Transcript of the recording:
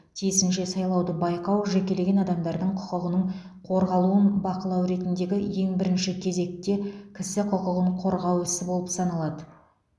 тиісінше сайлауды байқау жекелеген адамдардың құқығының қорғалуын бақылау ретіндегі ең бірінші кезекте кісі құқығын қорғау ісі саналады